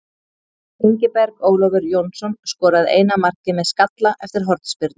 Ingiberg Ólafur Jónsson skoraði eina markið með skalla eftir hornspyrnu.